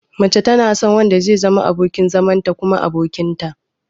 Mace tana son wanda zai zama abokin zamanta kuma abokinta.